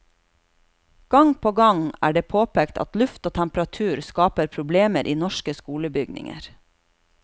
Gang på gang er det påpekt at luft og temperatur skaper problemer i norske skolebygninger.